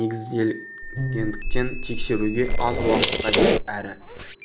негізделгендіктен тексеруге аз уақыт қажет әрі